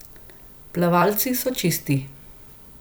Plavalci so čisti.